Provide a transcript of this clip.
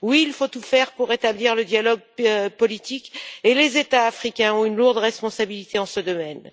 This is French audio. Oui, il faut tout faire pour rétablir le dialogue politique et les États africains ont une lourde responsabilité dans ce domaine.